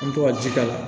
An bɛ to ka ji k'a la